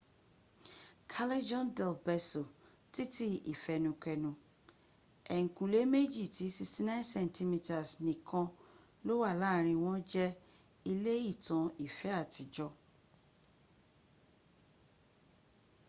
callejon del beso titi ifenukenu. eyinkule meji ti 69 centimeters nikan lo wa laarin won je ile itan ife atijo